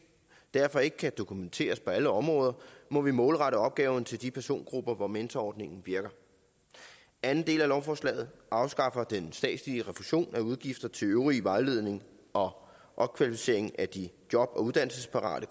derfor ikke kan dokumenteres på alle områder må vi målrette opgaven til de persongrupper hvor mentorordningen virker anden del af lovforslaget afskaffer den statslige refusion af udgifter til øvrig vejledning og opkvalificering af de job og uddannelsesparate